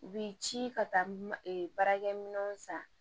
U bi ci ka taa baarakɛminɛnw san